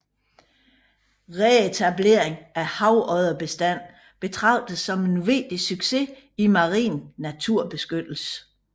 Reetableringen af havodderbestanden betragtes som en vigtig succes i marin naturbeskyttelse